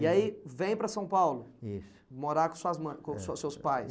E aí vem para São Paulo, isso, morar com suas ma, morar com seus seus pais.